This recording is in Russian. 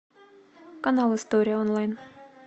канал история онлайн